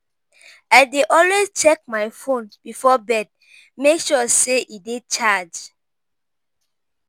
I dey always check my phone before bed; make sure say e dey charged.